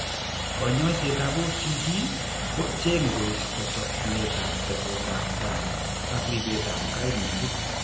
Kanyoisetab OCP ko cheng'e koisto chokchinetab tesetab tai ak ribetab kaimutik.